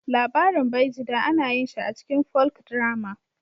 Labarin Baijida ana yin shi a cikin Folkdrama